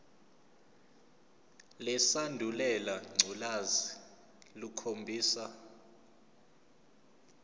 lesandulela ngculazi lukhombisa